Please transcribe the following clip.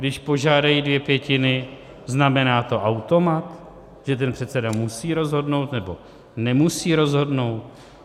Když požádají dvě pětiny, znamená to automat, že ten předseda musí rozhodnout, nebo nemusí rozhodnout?